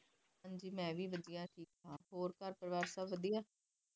ਮੈ ਵੀ ਵਧੀਆਂ ਹੋਰ ਘਰ ਪਰਿਵਾਰ ਵਧੀਆਂ